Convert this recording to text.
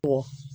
Kɔ